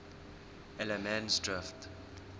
allemansdrift